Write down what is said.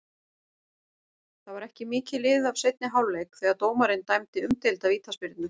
Það var ekki mikið liðið af seinni hálfleik þegar dómarinn dæmdi umdeilda vítaspyrnu.